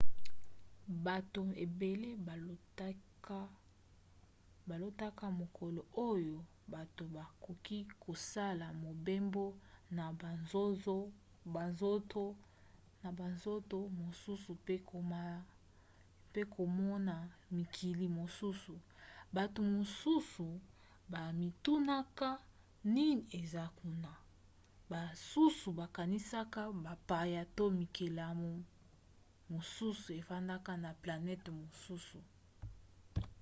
bato ebele balotaka mokolo oyo bato bakoki kosala mobembo na monzoto mosusu pe komona mikili mosusu bato mosusu bamitunaka nini eza kuna basusu bakanisaka bapaya to bikelamu mosusu efandaka na planete mosusu